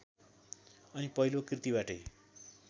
अनि पहिलो कृतिबाटै